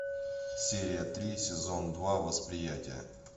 серия три сезон два восприятие